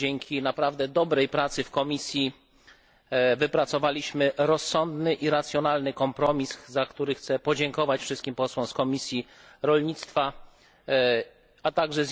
Dzięki naprawdę dobrej pracy w komisji wypracowaliśmy rozsądny i racjonalny kompromis, za który chcę podziękować wszystkim posłom z Komisji Rolnictwa, a także